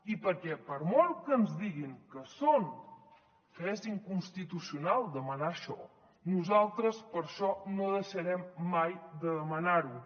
i perquè per molt que ens diguin que és inconstitucional demanar això nosaltres per això no deixarem mai de demanar ho